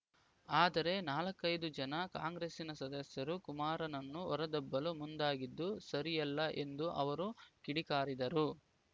ಆದರೆ ನಾಲ್ಕೈದು ಜನ ಕಾಂಗ್ರೆಸ್ಸಿನ ಸದಸ್ಯರು ಕುಮಾರನ್ನನು ಹೊರದಬ್ಬಲು ಮುಂದಾಗಿದ್ದು ಸರಿಯಲ್ಲ ಎಂದು ಅವರು ಕಿಡಿಕಾರಿದರು